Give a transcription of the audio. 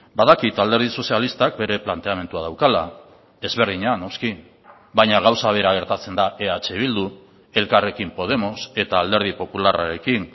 badakit alderdi sozialistak bere planteamendua daukala ezberdina noski baina gauza bera gertatzen da eh bildu elkarrekin podemos eta alderdi popularrarekin